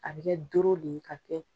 A bɛ kɛ doro de ye ka kɛ